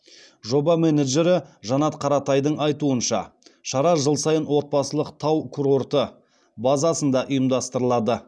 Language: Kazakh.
жоба менеджері жанат қаратайдың айтуынша шара жыл сайын отбасылық тау курорты базасында ұйымдастырылады